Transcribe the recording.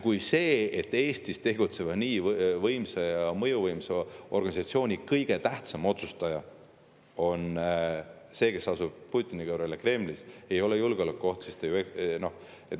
Kui see, et Eestis tegutseva nii võimsa ja mõjuvõimsa organisatsiooni kõige tähtsam otsustaja asub Putini kõrval Kremlis, ei ole julgeolekuoht, siis te ju ...